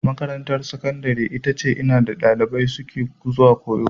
Makarantar Sakandare ita ce inda ɗalibai suke zuwa koyo.